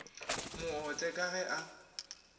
mo otle ka ge a